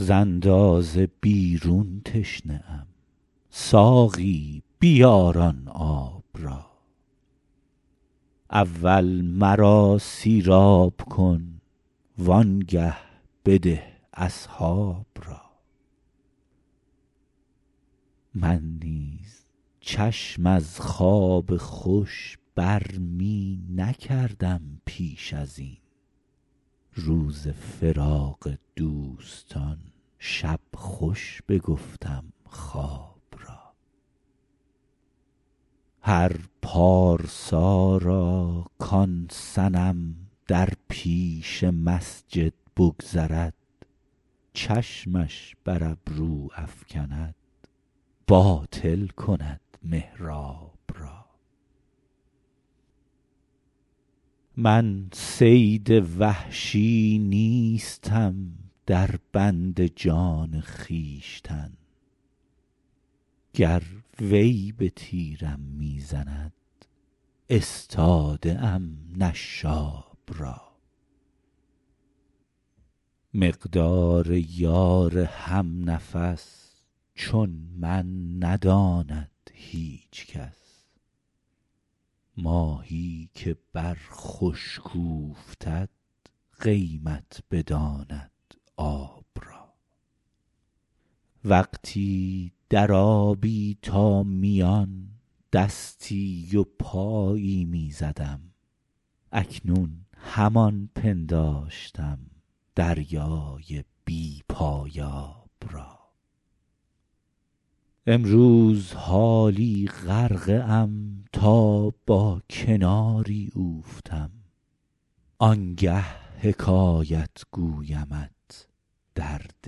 ز اندازه بیرون تشنه ام ساقی بیار آن آب را اول مرا سیراب کن وآنگه بده اصحاب را من نیز چشم از خواب خوش بر می نکردم پیش از این روز فراق دوستان شب خوش بگفتم خواب را هر پارسا را کآن صنم در پیش مسجد بگذرد چشمش بر ابرو افکند باطل کند محراب را من صید وحشی نیستم در بند جان خویشتن گر وی به تیرم می زند استاده ام نشاب را مقدار یار هم نفس چون من نداند هیچ کس ماهی که بر خشک اوفتد قیمت بداند آب را وقتی در آبی تا میان دستی و پایی می زدم اکنون همان پنداشتم دریای بی پایاب را امروز حالا غرقه ام تا با کناری اوفتم آنگه حکایت گویمت درد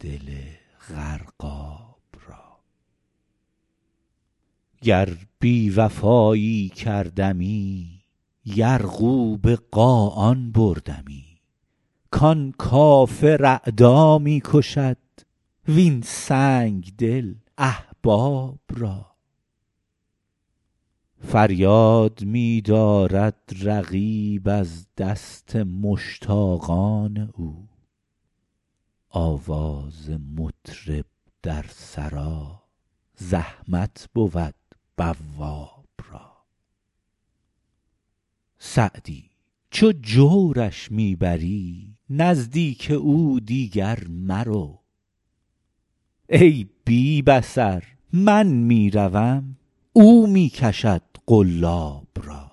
دل غرقاب را گر بی وفایی کردمی یرغو به قاآن بردمی کآن کافر اعدا می کشد وین سنگدل احباب را فریاد می دارد رقیب از دست مشتاقان او آواز مطرب در سرا زحمت بود بواب را سعدی چو جورش می بری نزدیک او دیگر مرو ای بی بصر من می روم او می کشد قلاب را